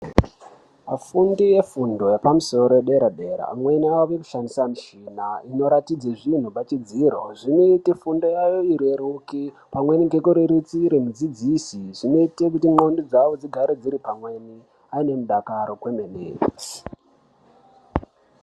Afundi efundo yepamusoro yedera dera amweni akushandisa muchina inoratidze zvinhu pachidziro zvinoote fundo yawo ireruke pamweni ngekurerisire mudzidzisi zvinoite kuti ndxondo dzawo dzigare dziri pamweni aine mudakaro kwemene.